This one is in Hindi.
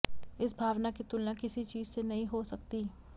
इस भावना की तुलना किसी चीज से नहीं हो सकती